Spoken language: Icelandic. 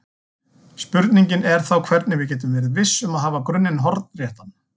Spurningin er þá hvernig við getum verið viss um að hafa grunninn hornréttan.